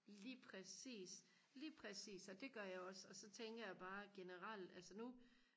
lige præcis lige præcis og det gør jeg også og så tænker jeg bare generelt altså nu